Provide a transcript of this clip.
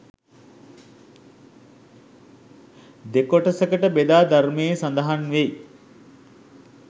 දෙකොටසකට බෙදා ධර්මයේ සඳහන් වෙයි.